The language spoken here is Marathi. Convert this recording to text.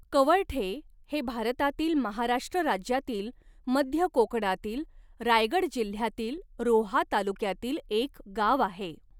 कवळठे हे भारतातील महाराष्ट्र राज्यातील मध्य कोकणातील रायगड जिल्ह्यातील रोहा तालुक्यातील एक गाव आहे.